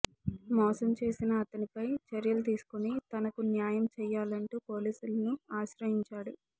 మోసం చేసిన అతనిపై చర్యలు తీసుకుని తనకు న్యాయం చేయాలంటూ పోలీసులను ఆశ్రయించాడు